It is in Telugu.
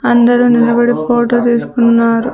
అందరూ నిలబడి ఫోటో తీసుకున్నారు.